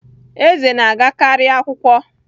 Eze na-agakarị akwụkwọ